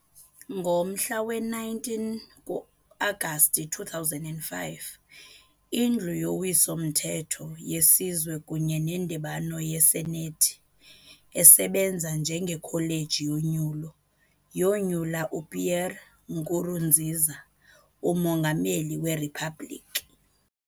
Ngomhla we-19 ku-Agasti 2005, iNdlu yoWiso-mthetho yeSizwe kunye neNdibano yeSenethi esebenza njengeKholeji yoNyulo, yonyula uPierre Nkurunziza umongameli weriphabliki.